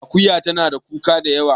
Akuya tana da kuka da yawa